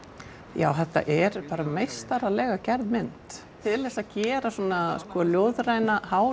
já þetta er bara meistaralega gerð mynd til þess að gera svona ljóðræna